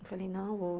Eu falei, não,